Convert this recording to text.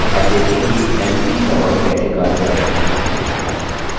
अब देखें कि mv command कैसे कार्य करती है